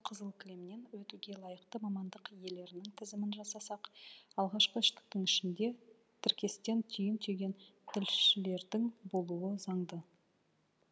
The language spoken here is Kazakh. қызыл кілемнен өтуге лайықты мамандық иелерінің тізімін жасасақ алғашқы үштіктің ішінде тіркестен түйін түйген тілшілердің болуы заңды